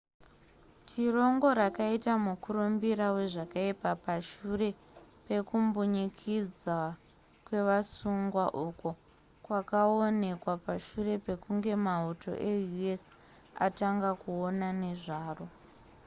tirongo rakaita mukurumbira wazvakaipa pashure pekumbunyikidzwa kwevasungwa uko kwakaonekwa pashure pekunge mauto eus atanga kuona nezvaro